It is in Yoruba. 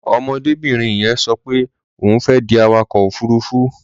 Ọmọdébìnrin yẹn sọ pé òun fẹ́ di awakọ̀ òfuruufú.